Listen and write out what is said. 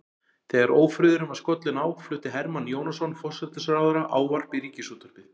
Þegar ófriðurinn var skollinn á flutti Hermann Jónasson forsætisráðherra ávarp í ríkisútvarpið.